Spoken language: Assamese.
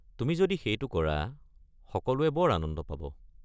তুমি যদি সেইটো কৰা সকলোৱে বৰ আনন্দ পাব।